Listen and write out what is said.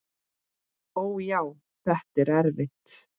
Ó, já, þetta er erfitt.